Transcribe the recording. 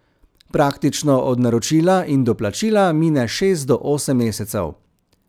Praktično od naročila in do plačila mine šest do osem mesecev.